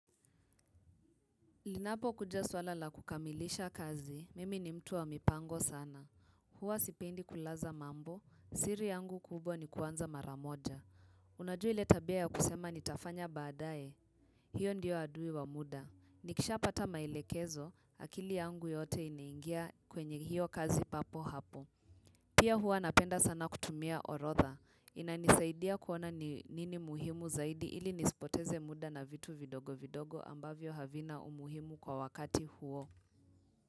Linapo kuja swala la kukamilisha kazi, mimi ni mtu wa mipango sana. Huwa sipendi kulaza mambo, siri yangu kubwa ni kuanza mara moja. Unajua le tabia ya kusema nitafanya baadaye. Hiyo ndiyo adui wa muda. Nikisha pata maelekezo, akili yangu yote inaingia kwenye hiyo kazi papo hapo. Pia huwa napenda sana kutumia orodha. Inanisaidia kuona nini muhimu zaidi ili nisipoteze muda na vitu vidogo vidogo ambavyo havina umuhimu kwa wakati huo.